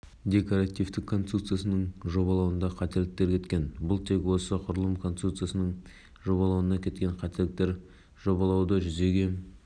бүгін біз сарапшылардың зерттеу нәтижелері белгілі болды олар құрылыс барысында пайдаланылған материалдардың анализін жасады декоративтік конструкцияның құрылысы мен жобалық жұмыстар зерттелді